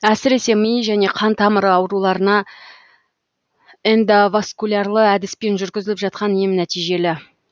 әсіресе ми және қан тамыры ауруларына эндовоскулярлы әдіспен жүргізіліп жатқан ем нәтижелі